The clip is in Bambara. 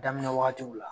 Daminɛ wagatiw la